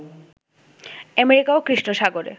অ্যামেরিকা-ও কৃষ্ণ সাগরে